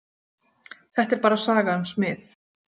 Þetta er bara saga um smið.